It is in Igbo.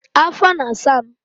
afọ na-asa m.